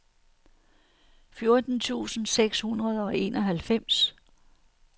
fjorten tusind seks hundrede og enoghalvfems